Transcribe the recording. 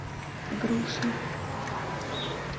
груши